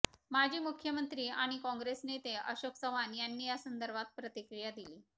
माजी मुख्यमंत्री आणि कॉंग्रेस नेते अशोक चव्हाण यांनी या संदर्भात प्रतिक्रिया दिली